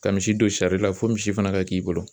Ka misi don sari la fo misi fana ka k'i bolo.